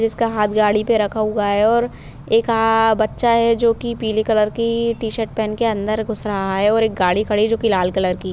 इसका हाथ गाड़ी पे रखा हुआ है और एक आ बच्चा है जो की पीले कलर की टी-शर्ट पहन के अंदर घुस रहा है और एक गाड़ी खड़ी है जो की लाल कलर की --